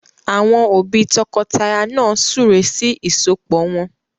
Àwọn òbí tọkọtaya náà súre sí ìsọpọ̀ wọn